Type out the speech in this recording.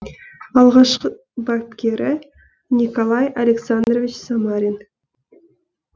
алғашқы бапкері николай александрович самарин